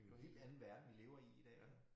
Det jo en helt anden verden vi lever i i dag